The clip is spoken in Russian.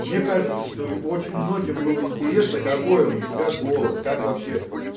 мне кажется что очень многим было интересно какой он у тебя голос как вообще